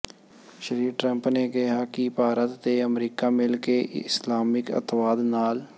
ਸ੍ਰੀ Trump ਨੇ ਕਿਹਾ ਕਿ ਭਾਰਤ ਤੇ ਅਮਰੀਕਾ ਮਿਲ ਕੇ ਇਸਲਾਮਿਕ ਅੱਤਵਾਦ ਨਾਲ